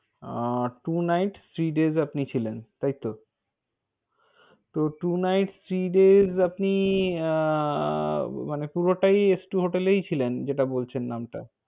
আহ two nights three days আপনি ছিলেন, তাইতো? তো two nights three days আপনি, মানে পুরটাই hotel এই ছিলেন? যেটা বলছেন নাম টা?